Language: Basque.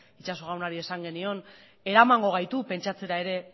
itxaso jaunari esan genion eramango gaitu pentsatzera ere